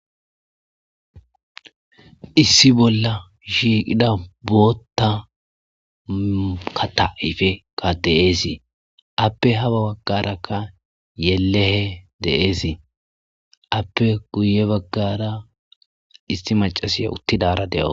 Issi bolla shiiqida bootta ka taifekka deeesii appe haba baggarakka yelehe deeesii appe guye baggara isti macasiya uttidara de'oo